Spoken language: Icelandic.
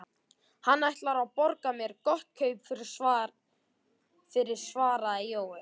Hann ætlar að borga mér gott kaup fyrir, svaraði Jói.